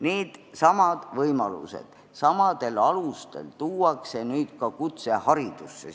Needsamad võimalused samadel alustel tuuakse nüüd ka kutseharidusse.